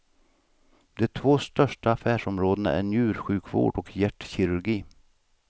De två största affärsområdena är njursjukvård och hjärtkirurgi.